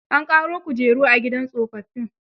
A ƙaro kujeru a gidan tsofaffin.